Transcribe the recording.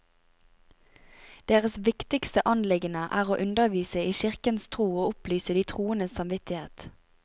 Deres viktigste anliggende er å undervise i kirkens tro og opplyse de troendes samvittighet.